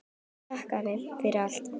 Takk afi, fyrir allt.